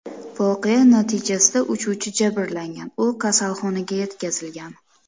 Voqea natijasida uchuvchi jabrlangan, u kasalxonaga yetkazilgan.